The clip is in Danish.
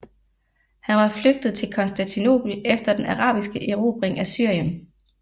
Han var flygtet til Konstantinopel efter den arabiske erobring af Syrien